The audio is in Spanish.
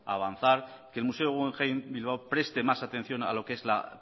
avanzar que el museo guggenheim bilbao preste más atención a lo que es la